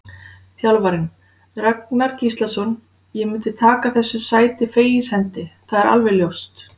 Þjálfarinn: Ragnar Gíslason: Ég myndi taka þessu sæti fegins hendi, það er alveg ljóst.